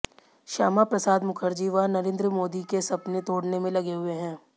श्यामा प्रसाद मुखर्जी व नरिंद्र मोदी के सपने तोडने में लगे हुए हैं